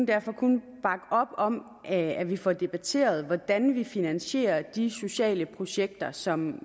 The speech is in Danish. derfor kun bakke op om at vi får debatteret hvordan vi får finansieret de sociale projekter som